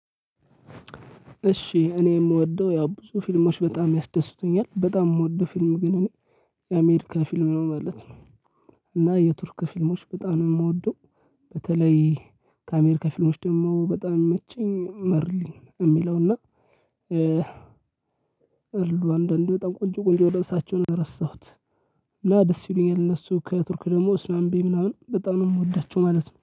እሺ እኔ የምወደው ያ ብዙ ፊልሞች በጣም ያስደስቱኛል በጣም የምወደው ፊልም ግን እኔ የአሜሪካ ፊልም ነው ማለት ነው። እና የቱርክ ፊልሞች በጣም የምወደው በተለይ ከአሜሪካ ፊልሞች ደግሞ በጣም የሚመቸኝ መርሊ የሚለውና። አሉ አንዳንድ በጣም ቆንጆ ቆንጆ ርእሳቸውን ረሳሁት። እና ደስ ይሉኛል እነሱ ከቱርክ ደግሞ እስማምቢ ምናምን በጣም ነው የምወዳቸው ማለት ነው